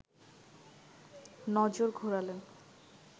নজর ঘোরালেন